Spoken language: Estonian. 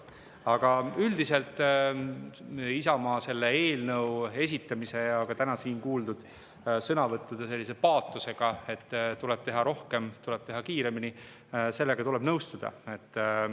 Aga üldiselt tuleb Isamaa eelnõu esitamise ja ka täna siin kuuldud sõnavõttude paatosega, et tuleb teha rohkem ja tuleb teha kiiremini, nõustuda.